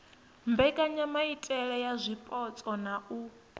mbekanyamaitele ya zwipotso na u